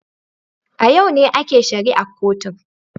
A yau ne ake shari'ar kotun